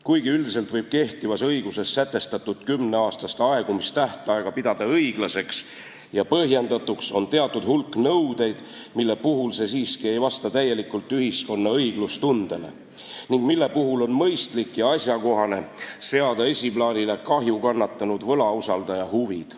Kuigi üldiselt võib kehtivas õiguses sätestatud kümneaastast aegumistähtaega pidada õiglaseks ja põhjendatuks, on teatud hulk nõudeid, mille puhul see siiski ei vasta täielikult ühiskonna õiglustundele ning mille puhul on mõistlik ja asjakohane seada esiplaanile kahju kannatanud võlausaldaja huvid.